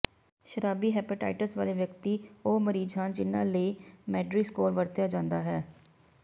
ਸ਼ਰਾਬੀ ਹੈਪੇਟਾਈਟਸ ਵਾਲੇ ਵਿਅਕਤੀ ਉਹ ਮਰੀਜ਼ ਹਨ ਜਿਨ੍ਹਾਂ ਲਈ ਮੈਡਰੀ ਸਕੋਰ ਵਰਤਿਆ ਜਾਂਦਾ ਹੈ